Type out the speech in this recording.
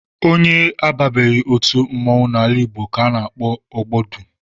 Onye ababeghị otu mmọnwụ n'ala Igbo ka a na-akpọ ogbodu